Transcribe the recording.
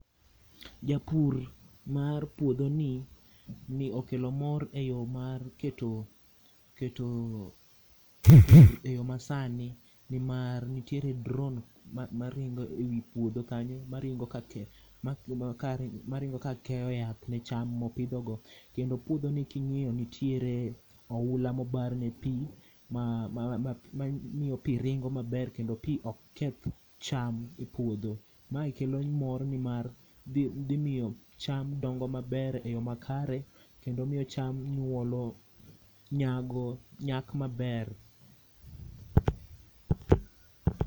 Japur mar puodho ni okelo mor e yo mar keto, keto e yoo masani, nimar nitiere drone maringo ewi puodho kanyo maringo ka keyo yath ne cham ma opidho go kendo puodho ni kingiyo nitiere oula mobar ne pii ma ,mamiyo pii ringo maber kendo pii ok keth cham e puodho. Mae kelo mor nimar dhi miyo cham dongo maber e yoo makare kendo miyo cham nyuolo, nyago, nyak maber